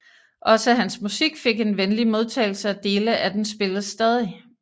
Også hans musik fik en venlig modtagelse og dele af den spilles stadig